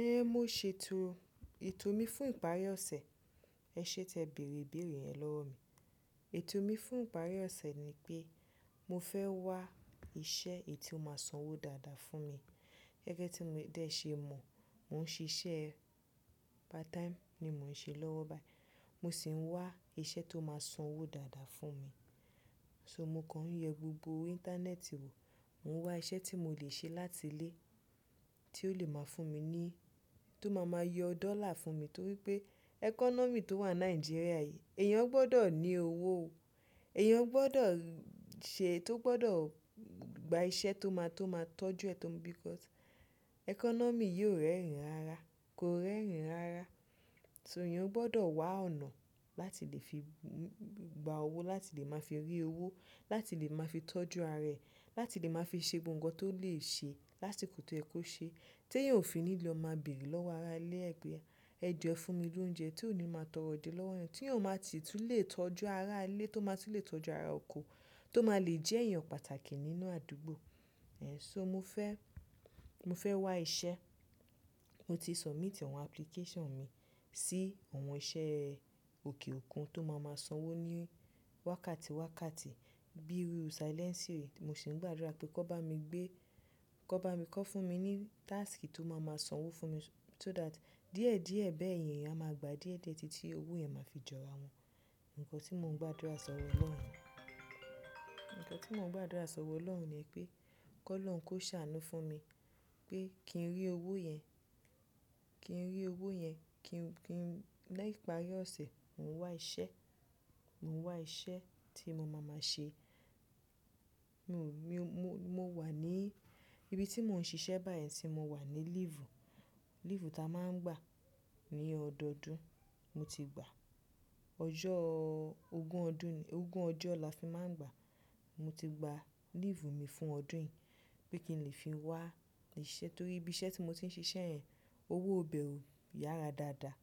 Ẹ̀hẹ́n, mo ṣètò, ètò mi fún ìparí ọ̀sẹ̀, ẹ̀ ṣé tẹ bèrè ìbéèrè yẹn lọ́wọ́ mi. Ètò mi fún ìparí ọ̀sẹ̀ ni pé mo fẹ́ wá iṣẹ́ èyí tó máa sanwó dáadáa fún mi. Gẹ́gẹ́ tí mo, té ṣe mọ̀, mò ń ṣe iṣẹ́ part time ni mò ń ṣe lọ́wọ́ báyìí. Mo sì ń wá iṣẹ́ tó máa sanwó dáadáa fún mi. So mo kàn ń yẹ gbogbo Íńtánẹ́ẹ̀tì wò, mò ń wá iṣẹ́ tí mo lè ṣe láti ilé tí ó lè máa fún mi ní, tó máa máa yọ dọ́là fún mi. Nítorí pé ẹkọ́nọ́mì tó wà ní Nàìjíríà yìí, èèyàn gbọ́dọ̀ ní owó o. Èèyàn gbọ́dọ̀ ṣe, tó gbọ́dọ̀ gba iṣẹ́ tó máa, tó máa tọ́jú ẹ tó ń because ẹkọ́nọ́mì yóò rẹ́rìn rara, kò rẹ́rìn rara. So èèyàn gbọ́dọ̀ wá ọ̀nà láti lè fi gba owó, láti lè máa fi rí owó, láti lè máa fi tọ́jú ara ẹ̀, láti lè máa fi ṣe gbogbo nǹkan tó lè ṣe, lásikò to ye kó ṣe, tí èèyàn ò fi ní lò máa bèrè lọ́wọ́ ará ilé ẹ̀ pẹ. Ẹ jo e fún mi lóúnjẹ tí ò ní máa tọrọ je lọ́wọ́ èèyàn, tí eeyan máa si tun lè tọ́jú ará ilé, tó máa ti lè tọ́jú ará oko, tó máa lè jẹ́ èèyàn pàtàkì nínú àdúgbò. Ẹ̀hẹn, so mo fẹ́, mo fẹ́ wá iṣẹ́. Mo ti submit àwọn application mi sí àwọn iṣẹ́ òkè òkun tó máa máa sanwó ní wákàtí wákàtí bí iru silẹ́nsì re. Mo sì ń gbàdúrà pé kó bá mi gbé, kó bá mi kọ́ fún mi ní task tó máa máa sanwó fún mi so that díẹ̀ díẹ̀ bẹ́ẹ̀ yẹn, a máa gbà díẹ̀ díẹ̀ títí owó yẹn máa fi jọ ara wọn. Ǹkan tí mò ń gbàdúrà sọ wọ Ọlọ́run Ǹkan tí mò ń gbàdúrà sọ wọ Ọlọ́run ní pé kólọ́run kó ṣàánú fún mi pé kí n rí owó yẹn, kí n rí owó yẹn, kí n, kí n, lẹ́ ìparí ọ̀sẹ̀, mò ń wá iṣẹ́, mò ń wá iṣẹ́ tí mo máa máa ṣe. Mo, mi ò, mo, mo wà ní ibi tí mò ń ṣe iṣẹ́ báyìí tí mo wà ní leave. Leave ta máa ń gbà ní ọdọdún, mo ti gba. Ọjọ́ ogún ọdún ní, ogún ọjọ́ la fi máa ń gbà. Mo ti gba leave mi fún ọdún yìí bí kí n lè fi wá iṣẹ́ torí ibi iṣẹ́ tí mo ti ń ṣe ṣẹ́yẹn, owó bẹ ò, yára dáadáa.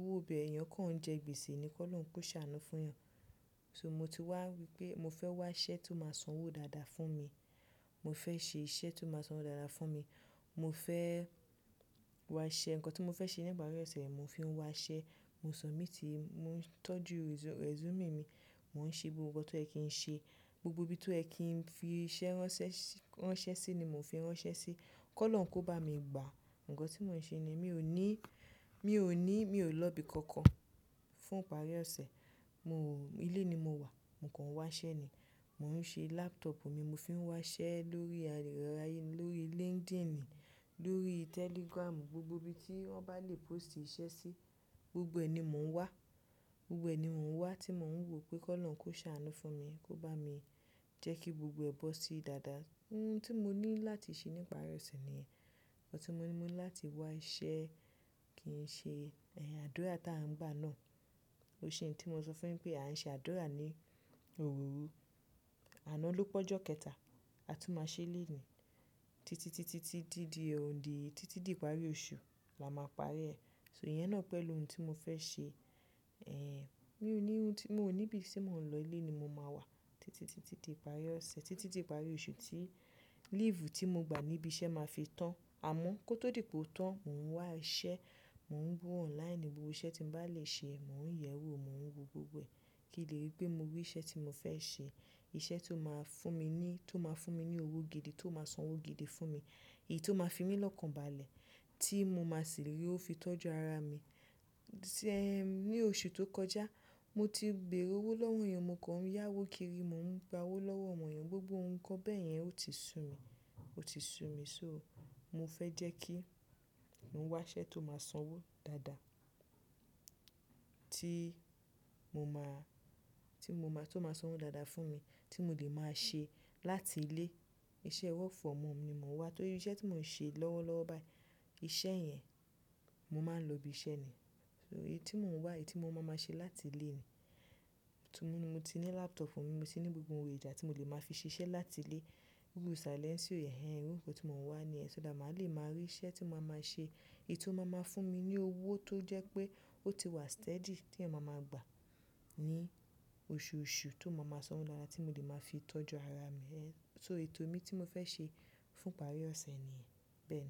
Owó bẹ, èèyàn kàn ń jẹ gbèsè ni, kólọ́run kó ṣàánú fún èèyàn. So mo ti wá wípé mo fẹ́ wá iṣẹ́ tó máa sanwó dáadáa fún mi. Mo fẹ́ ṣe iṣẹ́ tó máa sanwó dáadáa fún mi. Mo fẹ́ wá ṣẹ́, ǹkan tí mo fẹ́ ṣe ní ìparí ọ̀sẹ̀, mò ń fi wá ṣẹ́. Mo submit, mò ń tọ́jú resume mi, mò ń ṣe gbogbo nǹkan tó yẹ̀ kí ń ṣe. Gbogbo ibi tó yẹ̀ kí ń fi iṣẹ́ ránṣẹ́ sí ni mò ń fi ránṣẹ́ sí. Kólọ́run kó bá mi gbà. Ǹkan tí mò ń ṣe ni mi ò ní, mi ò ní, mi ò lọ ibi kankan fún ìparí ọ̀sẹ̀. Mo, ilé ni mo wà, mò kàn ń wá ṣẹ́ ni. Mo ń ṣe laptop mi, mo fi ń wá ṣẹ́ lórí ayélujára, lórí LinkedIn, lórí Telegram, gbogbo ibi tí wọ́n bá lè post iṣẹ́ sí, gbogbo ẹ̀ ni mò ń wá. Gbogbo ẹ̀ ni mò ń wá tí mò ń wò pé kólọ́run kó ṣàánú fún mi kó bá mi jẹ́ kí gbogbo ẹ bọ ṣí dáadáa. Ohun tí mo ní láti ṣe ní ìparí ọ̀sẹ̀ nìyẹn. Ǹkan tí mo ní, mo ní láti wá iṣẹ́ kí n ṣe ẹ̀yin àdúrà tí a ń bá náà. Ise tí mo sọ fún yin pé a ń ṣe àdúrà ní òwúrú àná ló pọ́jú kẹta, a tún máa ṣe léniì. Títí, títí, títí di òní, títí di ìparí oṣù la máa parí ẹ̀. So ìyẹn náà pẹ̀lú ohun tí mo fẹ́ ṣe. Ẹ̀hẹn, mi ò ní ohun tí, mo ò ní ibi tí mò ń lọ, ilé ni mo máa wà títí, títí di ìparí ọ̀sẹ̀, títí di ìparí oṣù tí leave tí mo gba ní ibi iṣẹ́ máa fi tán. Àmọ́ kó tó dìpò tán, mò ń wá iṣẹ́, mò ń wò online gbogbo iṣẹ́ tí mo bá lè ṣe, mò ń yẹ̀wò, mò ń wo gbogbo ẹ̀ kí lè rí pé mo rí iṣẹ́ tí mo fẹ́ ṣe. Iṣẹ́ tó máa fún mi ní, tó máa fún mi ní owó gidi, tó máa sanwó gidi fún mi, èyí tó máa fi mí lọ́kànbalẹ̀ tí mo máa sì rí ówo fi tọ́jú ara mi. Ẹ̀hẹn, ní oṣù tó kọjá, mo ti bèrè owó lọ́wọ́ èèyàn, mo kàn ń yá owó kiri, mò ń gba owó lọ́wọ́ àwọn èèyàn, gbogbo ǹkan bẹ́ẹ̀ yẹn ó ti sun mi, ó ti sun mi. So mo fẹ́ jẹ́ kí mò ń wá iṣẹ́ tó máa sanwó dáadáa tí mo máa, tí mo máa, tó máa sanwó dáadáa fún mi tí mo lè máa ṣe láti ilé. Iṣẹ́ work from home ni mò ń wá torí iṣẹ́ tí mò ń ṣe lọ́wọ́lọ́wọ́ báyìí, iṣẹ́ yẹn, mo máa ń lọ ibi iṣẹ́ ni. So èyí tí mò ń wá, èyí tí mo máa máa ṣe láti ilé ni. Tí mo ní, mo ti ní laptop mi, mo ti ní gbogbo ohun ìjà tí mo lè máa fi ṣe iṣẹ́ láti ilé. Iru Silẹ́nsì yen, ẹ̀hẹn, irú nǹkan tí mò ń wá ni yẹn. So là máa lè máa rí iṣẹ́ tí mo máa máa ṣe, èyí tó máa máa fún mi ní owó tó jẹ́ pé ó ti wà steady tí ẹ máa máa gbà ní oṣùṣù tó máa máa sanwó dáadáa tí mo lè máa fi tọ́jú ara mi. Ẹ̀hẹn, so ètò mi tí mo fẹ́ ṣe fún ìparí ọ̀sẹ̀ nìyẹn bẹ́ẹ̀.